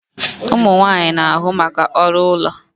Ụmụ nwanyị na-ahụ maka ọrụ ụlọ